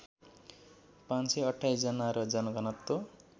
५२८ जना र जनघनत्व